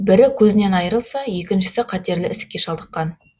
бірі көзінен айрылса екіншісі қатерлі ісікке шалдыққан